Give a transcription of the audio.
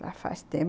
Já faz tempo.